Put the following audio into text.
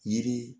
Yiri